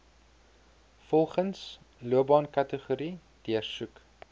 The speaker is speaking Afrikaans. volgens loopbaankategorie deursoek